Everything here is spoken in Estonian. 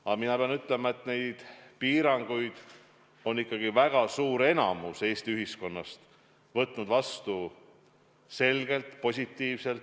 Samas ma pean ütlema, et neid piiranguid on ikkagi väga suur enamik Eesti ühiskonnast vastu võtnud selgelt positiivselt.